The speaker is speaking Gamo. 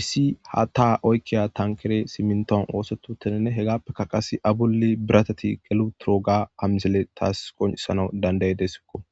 issi ha taa oykkiya tankere siminton oosetotainne hegappeka qase abulli birateti qelu troga ha misile taas qoncisana dandaydesikko